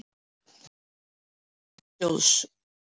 Alfræði Menningarsjóðs.